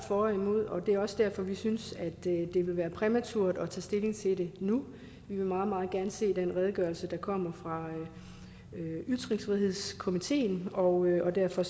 for og imod og det er også derfor at vi synes at det vil være præmaturt at tage stilling til det nu vi vil meget meget gerne se den redegørelse der kommer fra ytringsfrihedskommissionen og derfor